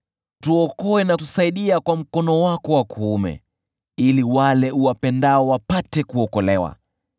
Tuokoe na utusaidie kwa mkono wako wa kuume, ili wale uwapendao wapate kuokolewa.